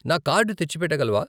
నా కార్డు తెచ్చిపెట్ట గలవా?